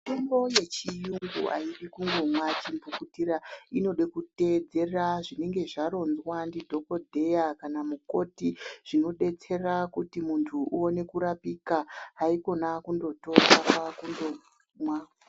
Mitombo yechiyungu aidi kungomwa chimphukutira inoda kutedzera zvinenge zvatonzwa ndidhokodheya kana mukoti zvinodetsera kuti munthu uone kurapika haikona kundotora kwakundomwa.